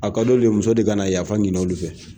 A ka d'olu ye muso de ka na yafa ɲini olu fɛ